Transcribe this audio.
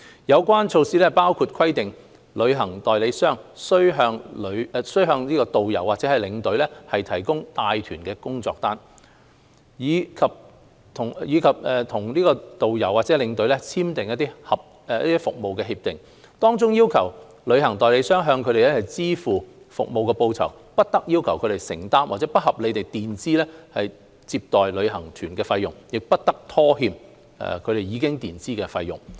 有關措施包括規定旅行代理商須向導遊或領隊提供帶團工作單，以及與導遊或領隊簽訂服務協議，當中要求旅行代理商向他們支付服務報酬、不得要求他們承擔或不合理地墊支接待旅行團費用，亦不得拖欠他們已墊支的費用。